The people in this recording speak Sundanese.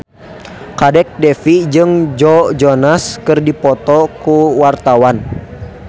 Kadek Devi jeung Joe Jonas keur dipoto ku wartawan